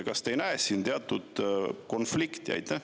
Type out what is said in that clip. Kas te ei näe siin teatud konflikti?